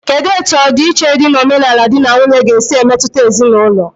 Kedụ etu ọdi iche dị n'omenala dị na nwunye ga-esi emetụta ezinaụlọ?